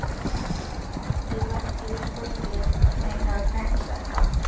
Ég var ekki viss hvort mig hefði dreymt þetta.